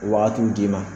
Wagatiw d'i ma